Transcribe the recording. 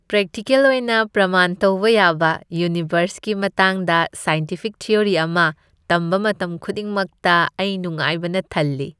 Practical ꯑꯣꯏꯅ ꯄ꯭ꯔꯃꯥꯟ ꯇꯧꯕ ꯌꯥꯕ ꯌꯨꯅꯤꯚꯔꯁꯀꯤ ꯃꯇꯥꯡꯗ ꯁꯥꯏꯟꯇꯤꯐꯤꯛ ꯊꯤꯑꯣꯔꯤ ꯑꯃ ꯇꯝꯕ ꯃꯇꯝ ꯈꯨꯗꯤꯡꯃꯛꯇ ꯑꯩ ꯅꯨꯡꯉꯥꯏꯕꯅ ꯊꯜꯂꯤ꯫